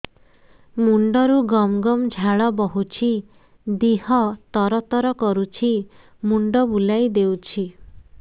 ମୁଣ୍ଡରୁ ଗମ ଗମ ଝାଳ ବହୁଛି ଦିହ ତର ତର କରୁଛି ମୁଣ୍ଡ ବୁଲାଇ ଦେଉଛି